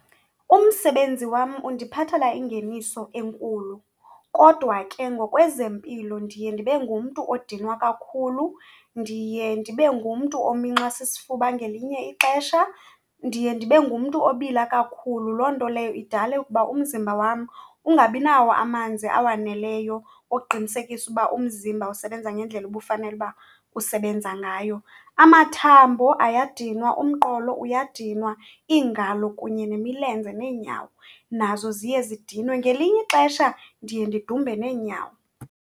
Umsebenzi wam undiphathela ingeniso enkulu, kodwa ke ngokwezempilo ndiye ndibe ngumntu odinwa kakhulu, ndiye ndibe ngumntu ominxwa sisifuba ngelinye ixesha. Ndiye ndibe ngumntu obila kakhulu, loo nto leyo idale ukuba umzimba wam ungabi nawo amanzi awaneleyo oqinisekisa uba umzimba usebenza ngendlela obufanele uba usebenza ngayo. Amathambo ayadinwa, umqolo uyadininwa, iingalo kunye nemilenze neenyawo nazo ziye zidinwe. Ngelinye ixesha ndiye ndidumbe neenyawo.